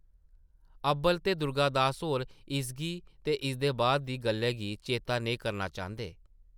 अब्बल ते दुर्गा दास होर इसगी ते इसदे बाद दी गल्लै गी चेतै नेईं करना चांह्दे ।